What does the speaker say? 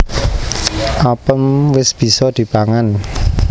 Apem wis bisa dipangan